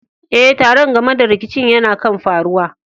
Eh, taron game da rikicin yana kan faruwa.